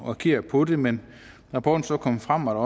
agere på det men da rapporten så kom frem og